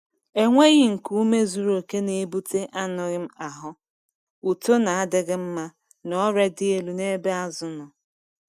Enweghi nku ume zuru oke na-ebute anyụm ahụ, uto na-adịghị mma, na ọrịa dị elu n’ebe azụ nọ.